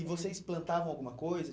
E vocês plantavam alguma coisa?